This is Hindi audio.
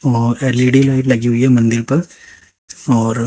और एल_ई_डी लाइट लगी हुई है मंदिर पर और--